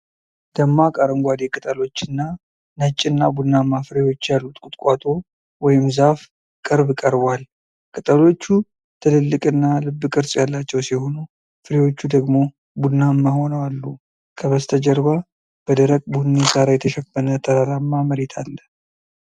ደማቅ አረንጓዴ ቅጠሎችና ነጭና ቡናማ ፍሬዎች ያሉት ቁጥቋጦ ወይም ዛፍ ቅርብ ቀርቧል። ቅጠሎቹ ትልልቅና ልብ ቅርፅ ያላቸው ሲሆኑ ፍሬዎቹ ደግሞ ቡናማ ሆነው አሉ። ከበስተጀርባ በደረቅ ቡኒ ሣር የተሸፈነ ተራራማ መሬት አለ።